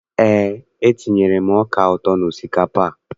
Eé, etinyere m ọka ụtọ n'osikapa a.